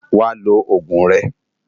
Wá ló ógún rè